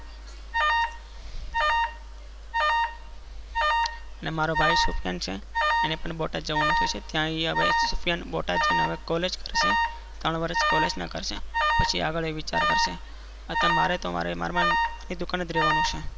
અને મારો ભાઈ સુફિયાન છે. અને પણ બોટાદ જવાનું થશે. ત્યાં હવે સુફિયાન બોટાદ જીયીને college કરશે. ત્રણ વર્ષ college ના કરશે. પછી આગળ યે વિચાર કરશે. તથા મારે તો મારા મામા ની દુકાને જ રેવા નું છે.